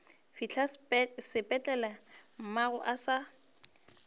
fihla sepetlele mmagwe a se